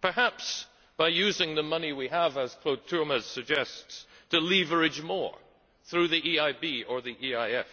perhaps by using the money we have, as Claude Turmes suggests, to leverage more through the EIB or the EIF.